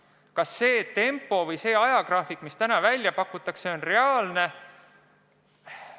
Kas see ajagraafik, mis täna välja pakutakse, on reaalne?